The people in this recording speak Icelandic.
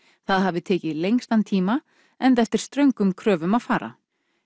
það hafi tekið lengstan tíma enda eftir ströngum kröfum að fara